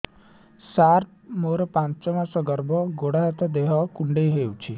ସାର ମୋର ପାଞ୍ଚ ମାସ ଗର୍ଭ ଗୋଡ ହାତ ଦେହ କୁଣ୍ଡେଇ ହେଉଛି